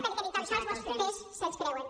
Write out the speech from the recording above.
perquè ni tan sols vostès se’ls creuen